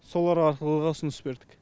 солар арқылы да ұсыныс бердік